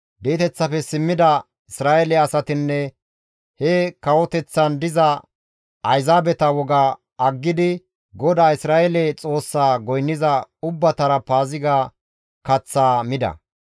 Di7eteththafe simmida Isra7eele asatinne he kawoteththan diza Ayzaabeta woga aggidi GODAA Isra7eele Xoossaa goynniza ubbatara Paaziga kaththaa mida.